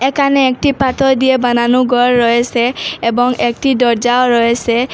এখানে একটি পাথর দিয়ে বানানো গর রয়েসে এবং একটি দরজাও রয়েসে।